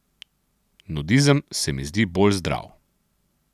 Nudizem se mi zdi bolj zdrav.